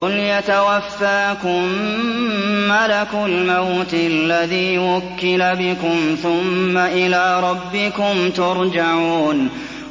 ۞ قُلْ يَتَوَفَّاكُم مَّلَكُ الْمَوْتِ الَّذِي وُكِّلَ بِكُمْ ثُمَّ إِلَىٰ رَبِّكُمْ تُرْجَعُونَ